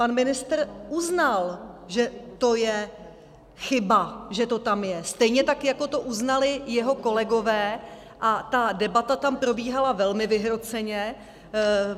Pan ministr uznal, že to je chyba, že to tam je, stejně tak jako to uznali jeho kolegové, a ta debata tam probíhala velmi vyhroceně.